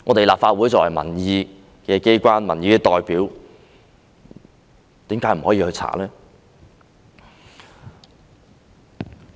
立法會作為民意機關、民意代表，為甚麼不能調查？